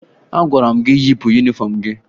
Agwara m gị yipụ yunifọmụ gị!